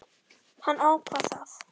Hann ákvað það.